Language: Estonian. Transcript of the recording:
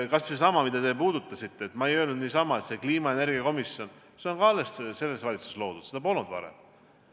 Kas või seesama, mida teiegi puudutasite: ma ei öelnud niisama, et kliima- ja energiakomisjon on ka selles valitsuses loodud, seda polnud varem.